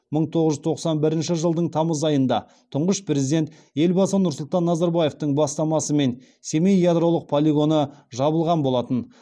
мың тоғыз жүз тоқсан бірінші жылдың тамыз айында тұңғыш президент елбасы нұрсұлтан назарбаевтың бастамасымен семей ядролық полигоны жабылған болатын